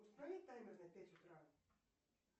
установи таймер на пять утра